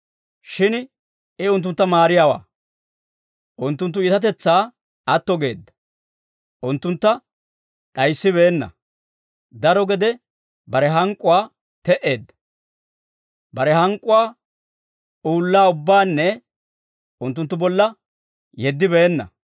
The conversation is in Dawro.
Shin I unttuntta maariyaawe; unttunttu iitatetsaa atto geedda. Unttuntta d'ayissibeenna; daro gede bare hank'k'uwaa te"eedda; bare hank'k'uwaa uullaa ubbaanna unttunttu bolla yeddibeenna.